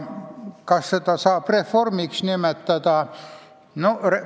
Kas seda saab reformiks nimetada?